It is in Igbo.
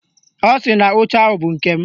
Ọ sị na oche ahụ bụ nke m